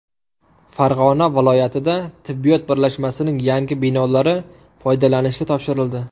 Farg‘ona viloyatida tibbiyot birlashmasining yangi binolari foydalanishga topshirildi.